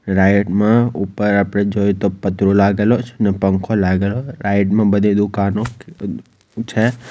રાઈટમાં ઉપર આપડે જોઈએ તો પતરું લાગેલો છ ને પંખો લાગેલો રાઈડમાં બધી દુકાનો છે.